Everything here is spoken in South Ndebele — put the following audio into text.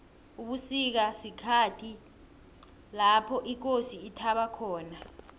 ubusika sikhhathi lopho ikosi ithaba khona